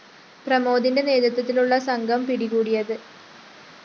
പ്രമോദിന്റെ നേതൃത്വത്തിലുള്ള സംഘം പിടികൂടിയത്